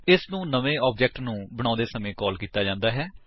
ਇਸਨੂੰ ਨਵੇਂ ਆਬਜੇਕਟ ਨੂੰ ਬਣਾਉਂਦੇ ਸਮਾਂ ਕਾਲ ਕੀਤਾ ਜਾਂਦਾ ਹੈ